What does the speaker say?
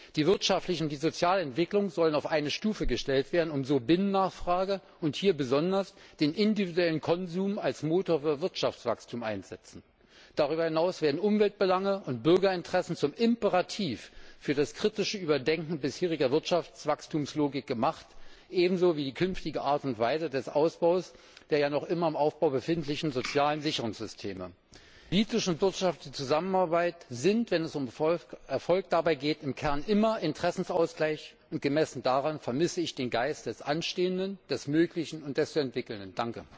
Die wirtschaftlichen wie sozialen Entwicklungen sollen auf eine Stufe gestellt werden, und die Binnennachfrage und hier besonders der individuelle Konsum soll als Motor für Wirtschaftswachstum eingesetzt werden. Darüber hinaus werden Umweltbelange und Bürgerinteressen zum Imperativ für das kritische Überdenken bisheriger Wirtschaftswachstumslogik gemacht, ebenso wie die künftige Art und Weise des Ausbaus der noch immer im Aufbau befindlichen sozialen Sicherungssysteme. Politische und wirtschaftliche Zusammenarbeit sind, wenn es um ihren Erfolg geht, im Kern immer Interessensausgleich, und gemessen daran vermisse ich den Geist des Anstehenden, des Möglichen und des zu Entwickelnden.